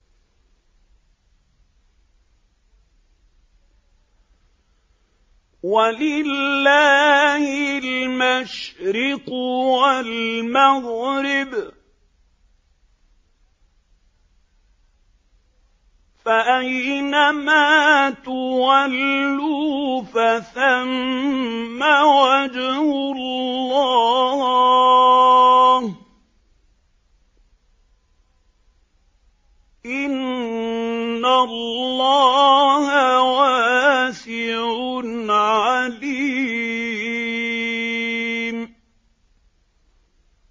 وَلِلَّهِ الْمَشْرِقُ وَالْمَغْرِبُ ۚ فَأَيْنَمَا تُوَلُّوا فَثَمَّ وَجْهُ اللَّهِ ۚ إِنَّ اللَّهَ وَاسِعٌ عَلِيمٌ